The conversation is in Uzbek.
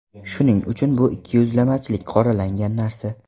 Shuning uchun bu ikkiyuzlamachilik qoralangan narsa.